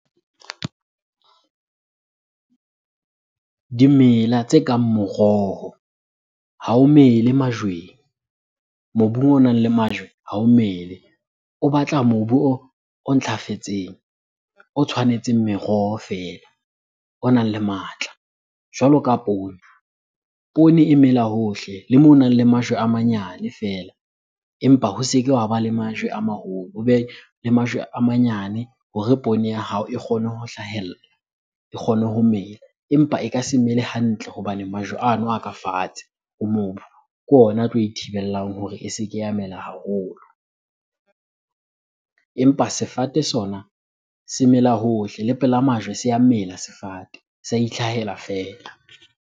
Dimela tse kang moroho ha o mele majweng, mobung o nang le majwe ha o mele. O batla mobu o ntlafetseng, o tshwanetseng meroho feela, o nang le matla. Jwalo ka poone, poone e mela hohle le moo honang le majwe a manyane feela empa ho se ke wa ba le majwe a maholo, hobe le majwe a manyane hore poone ya hao e kgone ho hlahella, e kgone ho mela. Empa e ka se mele hantle hobane majwe ano a ka fatshe ho mobu, ke ona a tlo e thibelang hore e se ke ya mela haholo. Empa sefate sona se mela hohle le pela majwe se a mela sefate, se a itlhahela fela.